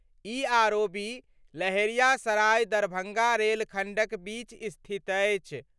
ई ROB Laheriasarai-Darbhanga rail खण्डक बीच स्थित अछि।